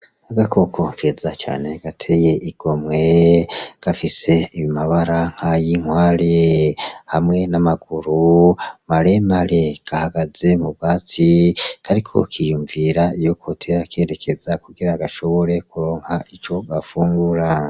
Agakoko keza cane gateye igomwe , gafise amabara nkay'inkware hamwe n'amaguru maremare gahagaze m'ubwatsi kariko kiyumvira iyo kotera kerekeza kugira gashobore kuronka ico gafungura .